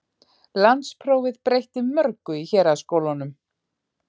Landsprófið breytti mörgu í héraðsskólunum.